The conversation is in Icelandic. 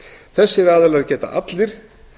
þessir aðilar geta allir